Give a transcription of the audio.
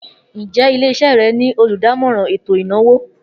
Njẹ ile-iṣẹ rẹ ni oludamọran eto inawo?